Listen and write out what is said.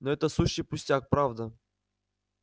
но это сущий пустяк правда